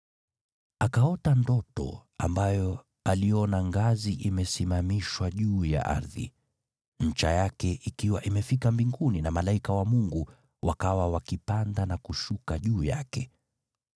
Akaota ndoto ambayo aliona ngazi imesimamishwa juu ya ardhi, ncha yake ikiwa imefika mbinguni na malaika wa Mungu wakawa wakipanda na kushuka juu yake.